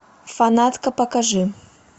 фанатка покажи